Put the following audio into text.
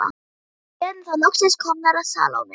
Og erum þá loksins komnar að Salóme.